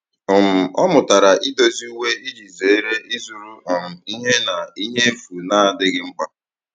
um Ọ mụtara idozi uwe iji zere ịzụrụ um ihe na ihe efu na-adịghị mkpa.